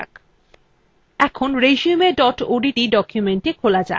এবার resume odt documentthe খোলা যাক